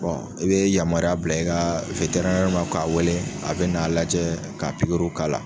i bɛ yamaruya bila i ka ma k'a wele a bɛ n'a lajɛ k'a pikiriw k'a la.